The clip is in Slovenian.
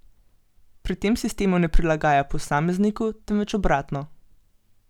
Pri tem sistema ne prilagaja posamezniku, temveč obratno.